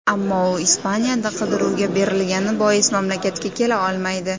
Ammo u Ispaniyada qidiruvga berilgani bois mamlakatga kela olmaydi.